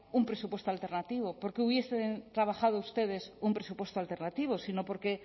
un presupuesto alternativo porque hubiesen trabajado ustedes un presupuesto alternativo sino porque